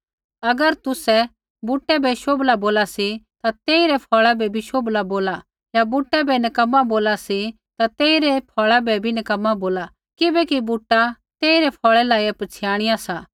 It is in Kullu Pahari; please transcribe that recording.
अगर तुसै बुटै बै शोभला बोला सी ता तेइरै फ़ौल़ा बै भी शोभला बोला या बुटै बै नक्कमा बोला सी ता तेइरै फ़ौल़ा बै भी नक्कमा बोला किबैकि बूटा तेइरै फ़ौल़ै लाइया पछ़ियाणिया सा